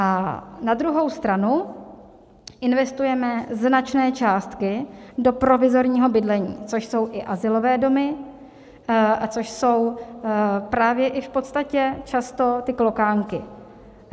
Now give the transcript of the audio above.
A na druhou stranu investujeme značné částky do provizorního bydlení, což jsou i azylové domy a což jsou právě i v podstatě často ty klokánky.